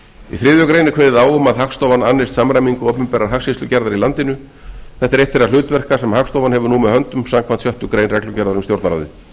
grein er kveðið á um að hagstofan annist samræmingu opinberrar hagskýrslugerðar í landinu þetta er eitt þeirra hlutverka sem hagstofan hefur nú með höndum samkvæmt sjöttu grein reglugerðar um stjórnarráðið